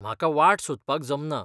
म्हाका वाट सोदपाक जमना.